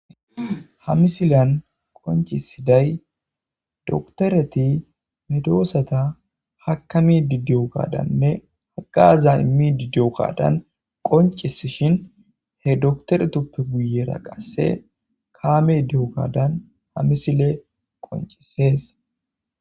Ha misiliyan qonccisiday dokiteretti medosata ha misiliyan qonccisiday dokiteretti medosata haakamidi diyo gaddanne dhaleza iimmidii diyo gaddan qonccisishin he dokitoretuppe guye baggara qase kaamey diyogadan ha misiley qonccises